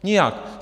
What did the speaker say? Nijak!